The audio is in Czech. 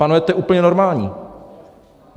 Pánové, to je úplně normální!